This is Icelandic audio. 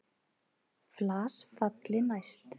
Flas falli næst.